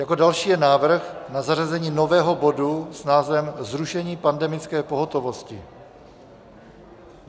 Jako další je návrh na zařazení nového bodu s názvem Zrušení pandemické pohotovosti.